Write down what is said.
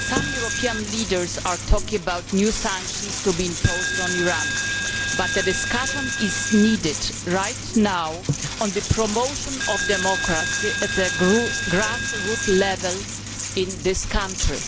Some European leaders are talking about new sanctions to be imposed on Iran, but a discussion is needed right now on the promotion of democracy at grass root level in this country.